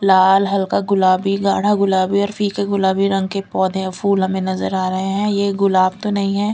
लाल हल्का गुलाबी गाढ़ा गुलाबी और फीके गुलाबी रंग के पौधे फूल हमें नजर आ रहे हैं ये गुलाब तो नहीं है।